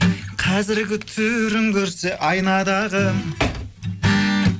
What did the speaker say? қазіргі түрін көрсе айнадағы